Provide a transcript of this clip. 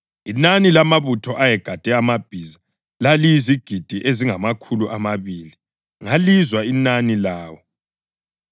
Inani lamabutho ayegade amabhiza laliyizigidi ezingamakhulu amabili. Ngalizwa inani lawo.